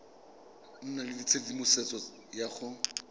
nna le tshedimosetso ya go